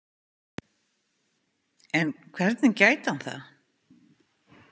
En hvernig gæti hann það?